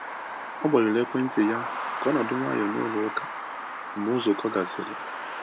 O gbanyụrụ ekwentị ya ka ọ nọdụ nwayọ n’ụlọ ụka mgbe nzukọ gasịrị.